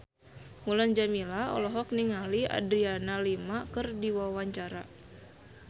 Mulan Jameela olohok ningali Adriana Lima keur diwawancara